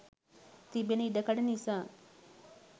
තිබෙන ඉඩකඩ නිසා